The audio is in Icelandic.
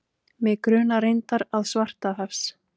Mig grunar reyndar að Svartahafs